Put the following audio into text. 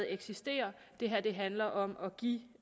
eksisterer det her handler om at give